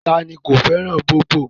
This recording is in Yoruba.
Ta ni ko fẹ́ràn bóbọ̀